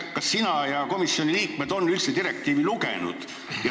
Kas sina ja komisjoni liikmed olete üldse direktiivi lugenud?